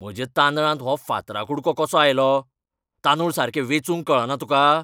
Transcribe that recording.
म्हज्या तांदळांत हो फातरा कुडको कसो आयलो? तांदूळ सारके वेचूंक कळना तुका?